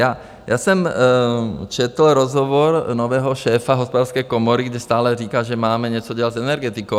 Já jsem četl rozhovor nového šéfa Hospodářské komory, kde stále říká, že máme něco dělat s energetikou.